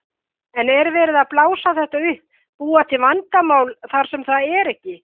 En er verið að blása þetta upp, búa til vandamál þar sem það er ekki?